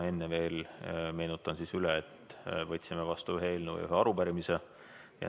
Enne veel meenutan üle, et võtsime vastu ühe eelnõu ja ühe arupärimise.